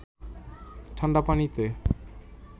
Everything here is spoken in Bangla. ঠাণ্ডা পানিতে